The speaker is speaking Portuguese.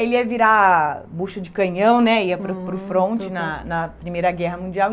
Ele ia virar bucho de canhão né, ia, uhum, para o para o fronte na na Primeira Guerra Mundial.